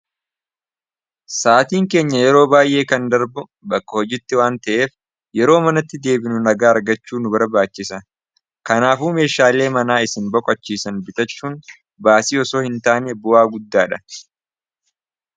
Sa'atiin keenya yeroo baay'ee kan darbu bakka hojitti waan ta'eef yeroo manatti deebinu nagaa argachuu nu barbaachisa kanaafuu meeshaalee manaa isin boko achiisan bitachuun baasii yosoo hin taane bu'aa guddaadha.